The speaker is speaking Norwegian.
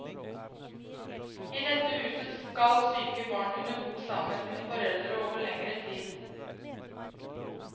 I dette huset skal syke barn kunne bo sammen med sine foreldre over lengre tid.